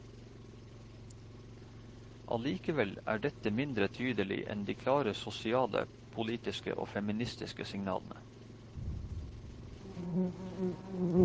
Allikevel er dette mindre tydelig enn de klare sosiale, politiske og feministiske signalene.